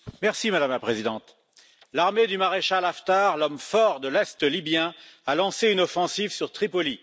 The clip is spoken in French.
Madame la Présidente, l'armée du maréchal Haftar, l'homme fort de l'est libyen, a lancé une offensive sur Tripoli.